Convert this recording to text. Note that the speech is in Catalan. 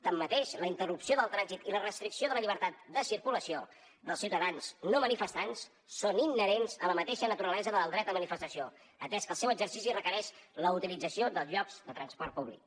tanmateix la interrupció del trànsit i la restricció de la llibertat de circulació dels ciutadans no manifestants són inherents a la mateixa naturalesa del dret a manifestació atès que el seu exercici requereix la utilització dels llocs de transport públic